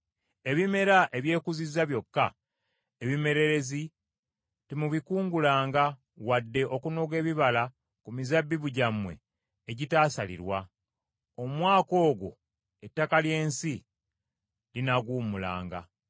Ebimera ebyekuzizza byokka, ebimererezi, temubikungulanga wadde okunoga ebibala ku mizabbibu gyammwe egitaasalirwa. Omwaka ogwo ettaka ly’ensi linaaguwummulanga.